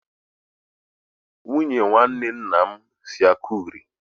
Nwunye nwanne nna m si Akure.